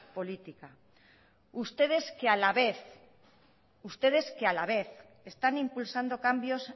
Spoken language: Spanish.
política ustedes que a la vez ustedes que a la vez están impulsando cambios